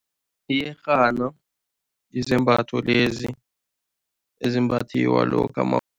Iyerhana yizembatho lezi ezimbathiwa lokha